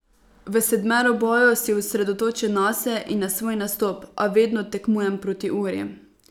V sedmeroboju si osredotočen nase in na svoj nastop, a vedno tekmujem proti uri.